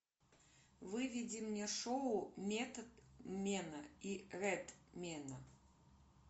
выведи мне шоу методмена и редмена